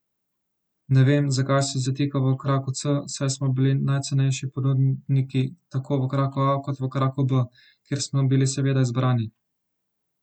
Ne vem, zakaj se zatika v kraku C, saj smo bili najcenejši ponudnik tako v kraku A kot v kraku B, kjer smo bili seveda izbrani.